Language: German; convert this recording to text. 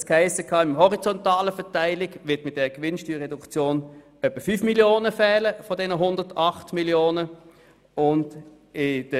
Es hiess, in der horizontalen Verteilung würden mit dieser Gewinnsteuerreduktion von den 108 Mio. Franken etwa 5 Mio. Franken fehlen.